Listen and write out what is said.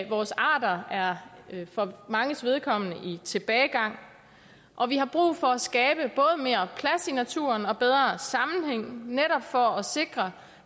vores arter er for manges vedkommende i tilbagegang og vi har brug for at skabe både mere plads i naturen og bedre sammenhæng netop for at sikre